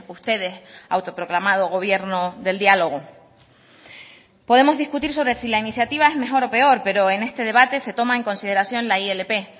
ustedes autoproclamado gobierno del diálogo podemos discutir sobre si la iniciativa es mejor o peor pero en este debate se toma en consideración la ilp